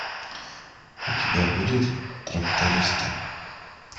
у тебя будет трактористы